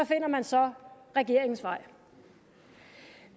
finder man så regeringens vej